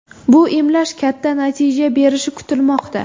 Bu emlash katta natija berishi kutilmoqda.